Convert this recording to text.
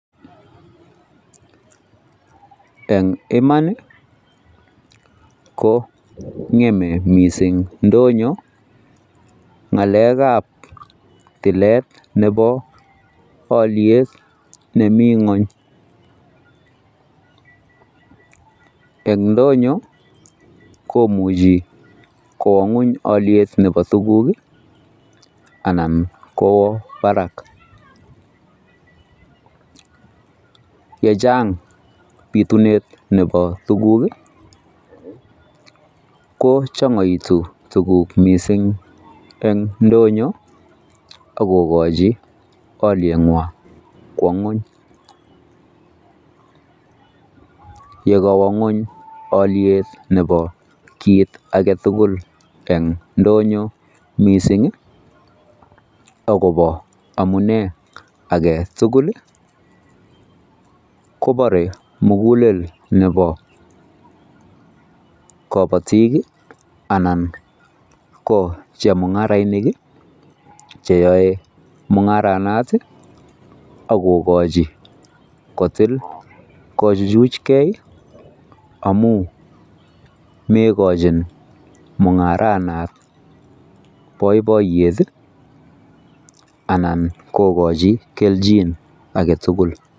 en imaan iih ko ngeme mising ndonyo ngaleek ab tileet nebo olyeet nemii ngony, ndonyo komuchi konguuny olyeet nebo tuguk anan kwoo barak, yechaang bituneet nebo tuguuk iih kochongoitu tuguuk mising en ndonyo ak kogochi olyeet nwoong kwo ngwoony, ye kawoo ngweny olyeet nebo kiit agetugul en ndonyo mising iih ak kobo maunee agetugul iih kobore mugulel nebo kobotiik iih anan ko chemungoroinik iih cheyoe mungaranaat iih ak kigochi kotiil kochuchuch gee amuun megochin mungaranaat boiboiyet iih anan kogochi kelchin agetugul.